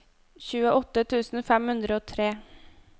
tjueåtte tusen fem hundre og tre